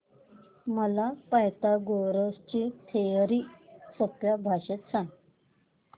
मला पायथागोरस ची थिअरी सोप्या भाषेत सांग